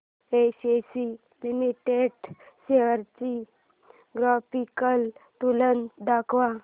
ACC limited shares ची graphical तुलना दाखव